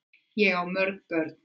Ég á mörg börn þar.